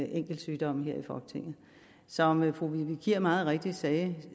enkeltsygdomme her i folketinget som fru vivi kier meget rigtigt sagde